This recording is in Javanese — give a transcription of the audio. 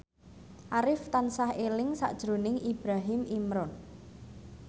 Arif tansah eling sakjroning Ibrahim Imran